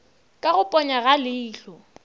ka go ponya ga leihlo